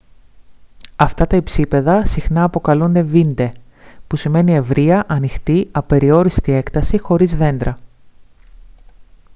αυτά τα υψίπεδα συχνά αποκαλούνται «βίντε» που σημαίνει μια ευρεία ανοιχτή απεριόριστη έκταση χωρίς δέντρα